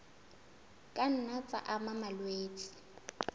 ka nna tsa ama malwetse